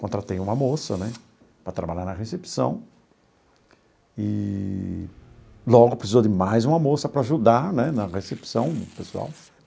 Contratei uma moça né para trabalhar na recepção eee logo precisou de mais uma moça para ajudar né na recepção pessoal.